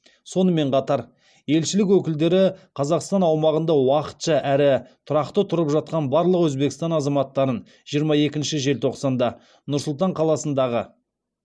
сонымен қатар елшілік өкілдері қазақстан аумағында уақытша әрі тұрақты тұрып жатқан барлық өзбекстан азаматтарын жиырма екінші желтоқсанда нұр сұлтан қаласындағы